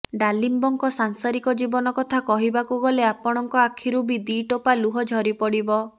ଡାଲିମ୍ବଙ୍କ ସାଂସାରିକ ଜୀବନ କଥା କହିବାକୁ ଗଲେ ଆପଣଙ୍କ ଆଖରୁ ବି ଦିଟୋପା ଲୁହ ଝରି ପଡ଼ିବ